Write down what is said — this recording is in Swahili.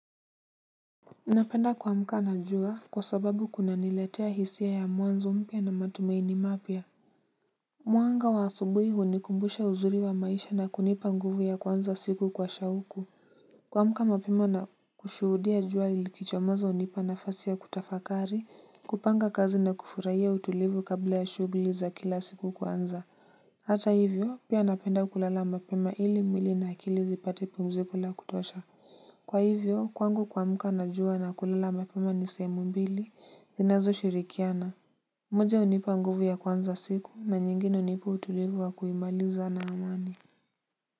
Napenda kuamka na jua kwa sababu kuna niletea hisia ya mwanzo mpya na matumaini mapya. Mwanga wa asubuhi hunikumbusha uzuri wa maisha na kunipa nguvu ya kuanza siku kwa shauku. Kuamka mapema na kushuhudia jua ilikichomoza hunipa nafasi ya kutafakari kupanga kazi na kufurahia utulivu kabla ya shughuli za kila siku kuanza. Hata hivyo pia napenda kulala mapema ili mwili na akili zipate pumziko la kutosha. Kwa hivyo, kwangu kuamka najua na kulala mapema ni sehemu mbili zinazo shirikiana. Moja hunipa nguvu ya kuanza siku na nyingine hunipu utulivu wa kuimaliza na amani.